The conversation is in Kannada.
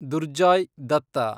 ದುರ್ಜಾಯ್ ದತ್ತ